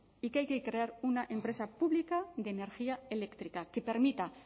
y que hay que crear una empresa pública de energía eléctrica que permita